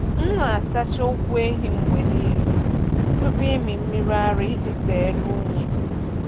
M na-asacha ụkwụ ehi mgbe niile tupu ịmị mmiri ara iji zere unyi.